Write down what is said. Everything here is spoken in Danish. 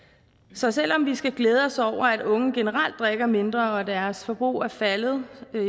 så selv om vi skal glæde os over at unge generelt drikker mindre og at deres forbrug er faldet